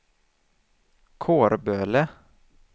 Kårböle